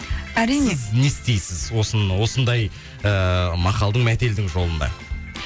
әрине сіз не істейсіз осындай ыыы мақалдың мәтелдің жолында